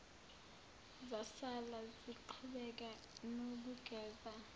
zasala ziqhubeka nokugeza